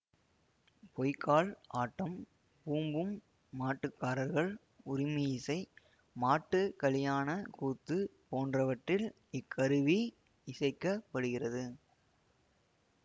பொய்க்கால் ஆட்டம் பூம்பூம் மாட்டுக்காரர்கள் உறுமியிசை மாட்டுகலியாண கூத்து போன்றவற்றில் இக் கருவி இசைக்கப்படுகிறது